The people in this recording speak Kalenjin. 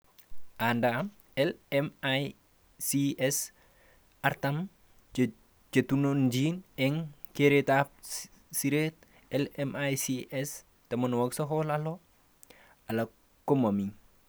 Anda LMICs 40 chetununchni eng keretab seret, LMICs 96 alak komami